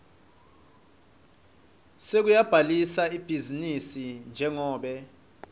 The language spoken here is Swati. sekubhalisa ibhizinisi njengobe